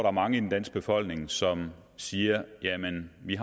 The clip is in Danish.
er mange i den danske befolkning som siger jamen vi